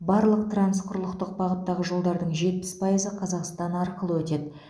барлық трансқұрлықтық бағыттағы жолдардың жетпіс пайызы қазақстан арқылы өтеді